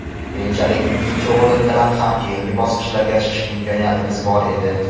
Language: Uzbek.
Keyinchalik ikkinchi o‘rin bilan ham keyingi bosqichga chiqish imkoniyatimiz bor edi.